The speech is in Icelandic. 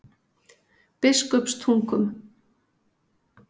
Biskupstungum